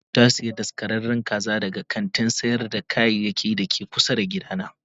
Mario ta sayi daskararren kaza daga kantin sayar da kayayyaki da ke kusa da gidana.